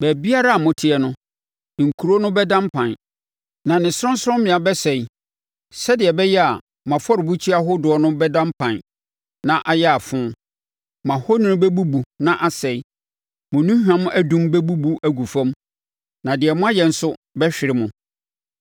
Baabiara a moteɛ no, nkuro no bɛda mpan, na ne sorɔnsorɔmmea bɛsɛe, sɛdeɛ ɛbɛyɛ a mo afɔrebukyia ahodoɔ no bɛda mpan na ayɛ afo. Mo ahoni bɛbubu na asɛe. Mo nnuhwam adum bɛbubu agu fam, na deɛ moayɛ nso bɛhwere mo.